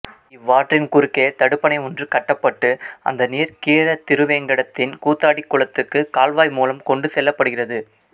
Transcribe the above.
இவ்வாற்றின் குறுக்கே தடுப்பணை ஒன்று கட்டப்பட்டு அந்த நீர் கீழத்திருவேங்கடத்தின் கூத்தாடி குளத்துக்கு கால்வாய் மூலம் கொண்டு செல்லப்படுகிறது